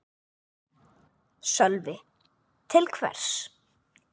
Sölvi: Til hvers?